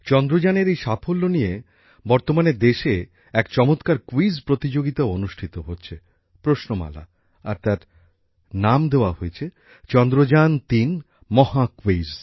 চন্দ্রযানের এই সাফল্য নিয়ে বর্তমানে দেশে এক চমৎকার ক্যুইজ প্রতিযোগিতাও অনুষ্ঠিত হচ্ছে প্রশ্নমালা আর তার নাম দেওয়া হয়েছে চন্দ্রযান৩ মহাক্যুইজ